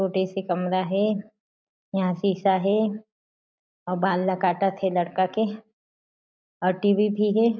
छोटे से कमरा हे यहाँ शीशा हे अउ बाल काटत हे लड़का के अउ टी.वी. भी हे।